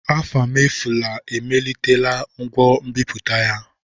Afamefula emelitela ngwa nbiputa ya.